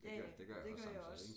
Ja ja det gør jeg også